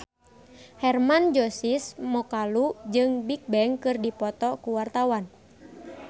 Hermann Josis Mokalu jeung Bigbang keur dipoto ku wartawan